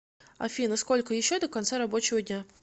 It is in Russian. афина сколько еще до конца рабочего дня